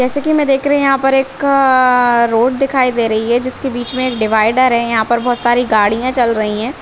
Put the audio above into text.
जैसे की मै देख रही यहाँ पर एक अ-अ-अ रोड दिखाई दे रही है जिसके बीच में एक डिवाइडर है यहा पर बहोत सारी गाड़िया चल रही है।